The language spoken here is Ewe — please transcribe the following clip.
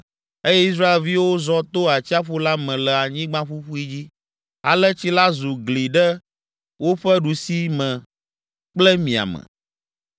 eye Israelviwo zɔ to atsiaƒu la me le anyigba ƒuƒui dzi, ale tsi la zu gli ɖe woƒe ɖusime kple miame.